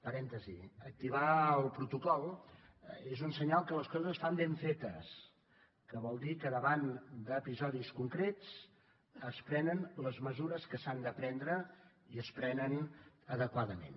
parèntesi activar el protocol és un senyal que les coses es fan ben fetes que vol dir que davant d’episodis concrets es prenen les mesures que s’han de prendre i es prenen adequadament